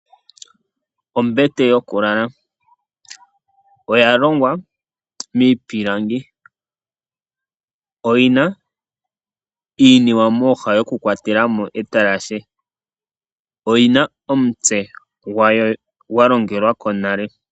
Oombete, oombete ohadhi kala dha longwa miipilangi, ohadhi kala dhina iinima mooha yoku kwatelamo etalahe, ohadhi kala dhina omitse dhawo dha longelwako nale.